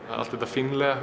allt þetta fínlega